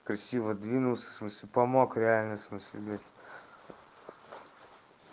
красиво двинулся в смысле помог реально в смысле блять